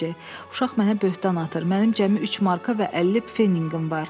Uşaq mənə böhtan atır, mənim cəmi 3 marka və 50 pfenninqim var.